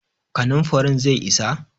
kanin farin zai isa?